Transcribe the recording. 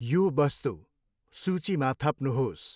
यो वस्तु सूचीमा थप्नुहोस्।